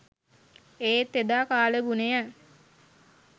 ඒත් එදා කාලගුණය